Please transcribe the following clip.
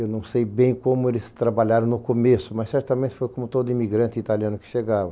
Eu não sei bem como eles trabalharam no começo, mas certamente foi como todo imigrante italiano que chegava.